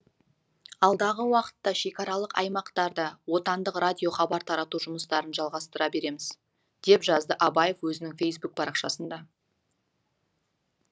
алдағы уақытта шекаралық аймақтарда отандық радио хабар тарату жұмыстарын жалғастыра береміз деп жазды абаев өзінің фейсбук парақшасында